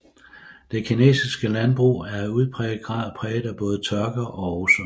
Det kinesiske landbrug er i udpræget grad præget af både tørke og oversvømmelser